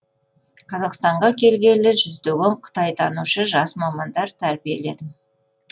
қазақстанға келгелі жүздеген қытайтанушы жас мамандар тәрбиеледім